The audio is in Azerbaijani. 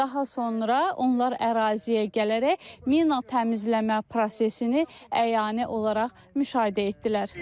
Daha sonra onlar əraziyə gələrək mina təmizləmə prosesini əyani olaraq müşahidə etdilər.